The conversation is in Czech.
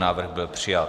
Návrh byl přijat.